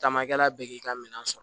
Caman kɛla bɛ k'i ka minɛn sɔrɔ